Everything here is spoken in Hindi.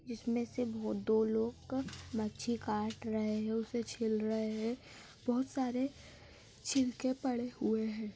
इसमें से बहुत दो लोग मच्छी काट रहे हैं उसे छिल रहे हैं बहुत सारे छिलके पड़े हुए हैं।